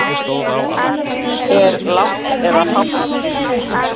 Er lágt eða hátt í?